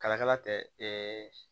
Kalakala tɛ